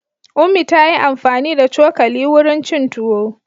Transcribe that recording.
Ummi ta yi amfani da cokali wurin cin tuwo.